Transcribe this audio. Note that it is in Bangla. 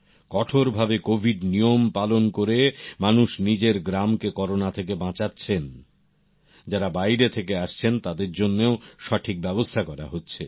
কঠোর ভাবে কোভিড নিয়মের পালন করে মানুষ নিজের গ্রামকে করোনা থেকে বাঁচাচ্ছেন যারা বাইরে থেকে আসছেন তাদের জন্যেও সঠিক ব্যাবস্থা করা হচ্ছে